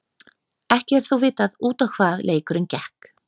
Ekki er þó vitað út á hvað leikurinn gekk.